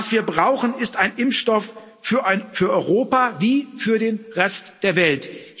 Was wir brauchen, ist ein Impfstoff für Europa wie für den Rest der Welt.